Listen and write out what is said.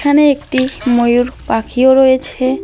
এখানে একটি ময়ূর পাখিও রয়েছে।